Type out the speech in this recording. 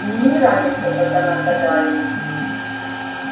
мне не нравится как она гадает